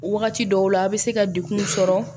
Wagati dɔw la a' bɛ se ka degun sɔrɔ